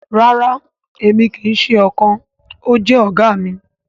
Rara emi kii ṣe ọkan… o jẹ oga mi.